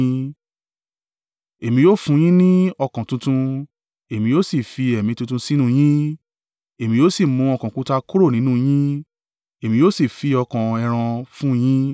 Èmi yóò fún yín ni ọkàn tuntun, èmi yóò sì fi ẹ̀mí tuntun sínú yín; Èmi yóò sì mú ọkàn òkúta kúrò nínú yín, èmi yóò sì fi ọkàn ẹran fún yín.